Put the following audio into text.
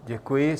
Děkuji.